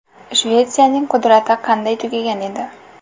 Shvetsiyaning qudrati qanday tugagan edi?